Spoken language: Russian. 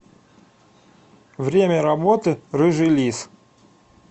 время работы рыжий лис